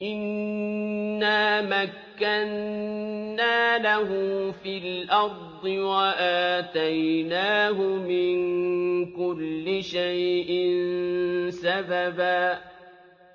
إِنَّا مَكَّنَّا لَهُ فِي الْأَرْضِ وَآتَيْنَاهُ مِن كُلِّ شَيْءٍ سَبَبًا